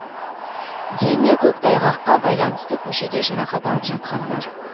дені көктайғаққа байланысты көшеде жарақат алып жатқандар